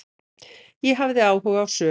Ég hafði áhuga á sögu